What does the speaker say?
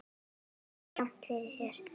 Þeir höfðu rangt fyrir sér.